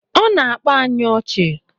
Ọ na-akpa anyị ọchị